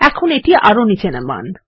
এখন এটি আরও নিচে নামান